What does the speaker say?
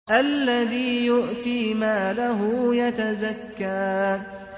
الَّذِي يُؤْتِي مَالَهُ يَتَزَكَّىٰ